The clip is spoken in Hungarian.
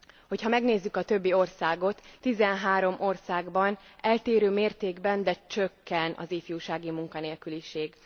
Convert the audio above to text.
Hogyha megnézzük a többi országot, 13 országban eltérő mértékben, de csökken az ifjúsági munkanélküliség.